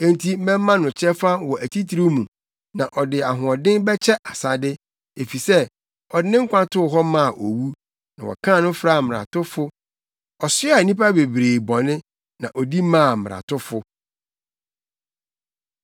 Enti mɛma no kyɛfa wɔ atitiriw mu, na ɔne ahoɔdenfo bɛkyɛ asade efisɛ ɔde ne nkwa too hɔ maa owu, na wɔkan no fraa mmaratofo. Ɔsoaa nnipa bebree bɔne, na odi maa mmaratofo.